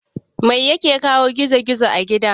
Mai yake kawo gizo gizo a gida?